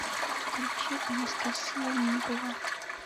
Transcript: включи анастасия мигова